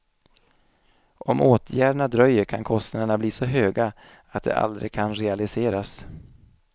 Om åtgärderna dröjer kan kostnaderna bli så höga att de aldrig kan realiseras.